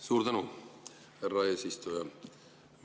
Suur tänu, härra eesistuja!